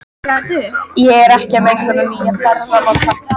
Ég er ekki að meika þennan nýja ferðamáta.